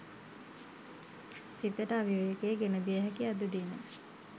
සිතට අවිවේකය ගෙනදිය හැකි අද දින